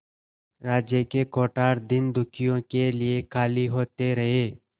राज्य के कोठार दीनदुखियों के लिए खाली होते रहे